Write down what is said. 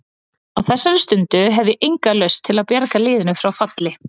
Á þessari stundu hef ég enga lausn til að bjarga liðinu frá falli.